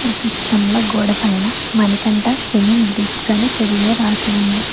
ఈ చిత్రంలో గోడపైన మణికంఠ సిమెంట్ బ్రిక్స్ అని తెలుగులో రాసి ఉంది.